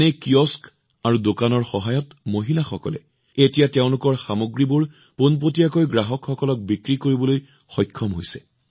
এনে কিয়স্ক আৰু দোকানৰ সহায়ত মহিলাসকলে এতিয়া তেওঁলোকৰ সামগ্ৰীবোৰ পোনপটীয়াকৈ গ্ৰাহকসকলক বিক্ৰী কৰিবলৈ সক্ষম হৈছে